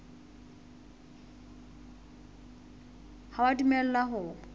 ha o a dumellwa ho